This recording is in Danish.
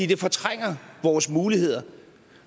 det fortrænger vores muligheder